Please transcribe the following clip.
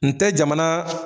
N te jamana